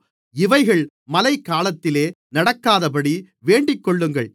இவைகள் மழைகாலத்திலே நடக்காதபடி வேண்டிக்கொள்ளுங்கள்